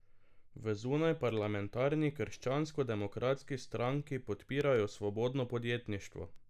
V zunajparlamentarni Krščansko demokratski stranki podpirajo svobodno podjetništvo.